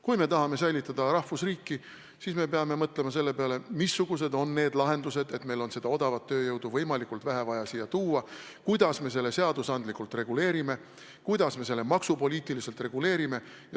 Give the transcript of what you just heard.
Kui me tahame säilitada rahvusriiki, siis me peame mõtlema, missugused on lahendused, mille puhul on vaja odavat tööjõudu võimalikult vähe siia tuua: kuidas me selle seadusandlikult reguleerime, kuidas me selle maksupoliitiliselt reguleerime.